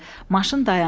Maşın dayandı.